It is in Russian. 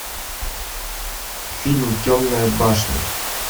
фильм темная башня